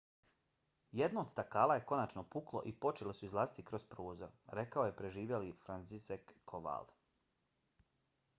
jedno od stakala je konačno puklo i počeli su izlaziti kroz prozor, rekao je preživjeli franciszek kowal